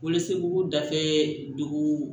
Bolociw dafɛ dugu